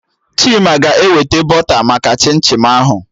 Chima ga-eweta bọta maka chim chim ahụ